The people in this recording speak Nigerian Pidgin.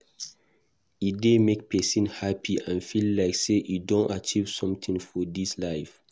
E dey make persin happy and feel like say e don achieve something for this life